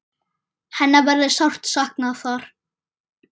Hennar verður sárt saknað þar.